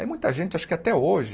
Aí muita gente, acho que até hoje,